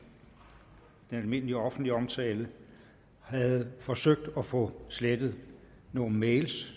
den almindelige offentlige omtale havde forsøgt at få slettet nogle mails